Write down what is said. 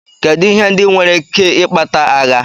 Kedụ ihe ndị nwere ike ikpata agha.